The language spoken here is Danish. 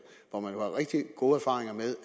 hvor man jo har rigtig gode erfaringer med